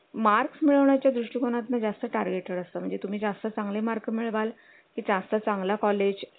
marks मिळवण्या च्या दृष्टीकोणातून जास्त target असतं म्हणजे तुम्ही जास्त चांगले mark मिळवाल जास्त चांगला college